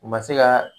U ma se ka